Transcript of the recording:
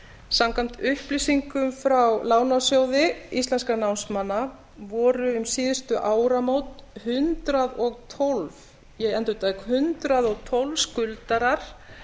samkvæmt upplýsingum frá lánasjóði íslenskra námsmanna voru um síðustu áramót hundrað og tólf ég endurtek hundrað og tólf skuldarar